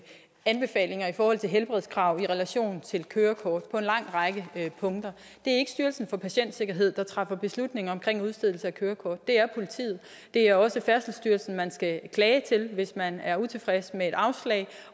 anbefalinger i forhold til helbredskrav i relation til kørekort på en lang række punkter det er ikke styrelsen for patientsikkerhed der træffer beslutning om udstedelse af kørekort men det er politiet det er også færdselsstyrelsen man skal klage til hvis man er utilfreds med et afslag